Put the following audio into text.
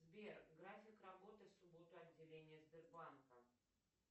сбер график работы в субботу отделения сбербанка